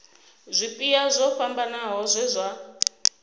zwipia zwo fhambanaho zwe zwa